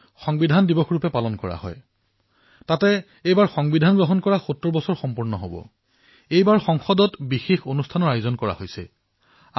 চিন্তা কৰক এই স্কুবা ডাইভাৰসকলৰ পৰা প্ৰেৰণা লাভ কৰি যদি আমি আমাৰ নিকটৱৰ্তী ঠাইসমূহৰ পৰা প্লাষ্টিকৰ আৱৰ্জনা মুক্ত কৰাৰ সংকল্প গ্ৰহণ কৰো তেন্তে প্লাষ্টিক মুক্ত ভাৰত সমগ্ৰ বিশ্বৰ ভিতৰতে এক আদৰ্শ হিচাপে পৰিগণিত হব